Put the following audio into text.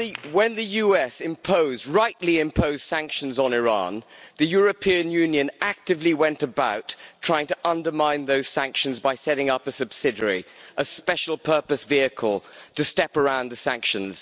When the USA rightly imposed sanctions on Iran, the European Union actively went about trying to undermine those sanctions by setting up a subsidiary, a special purpose vehicle to step around the sanctions.